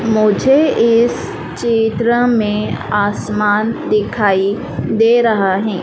मुझे इस चित्र में आसमान दिखाई दे रहा है।